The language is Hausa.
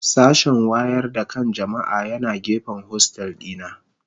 Sashen wayar da kan jama'a yana gefen hostel dina.